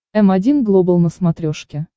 м один глобал на смотрешке